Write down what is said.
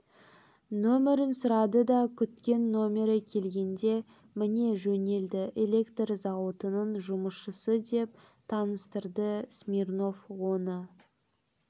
нөмерін сұрады да күткен нөмері келгенде міне жөнелді электр зауытының жұмысшысы деп таныстырды смирнов оны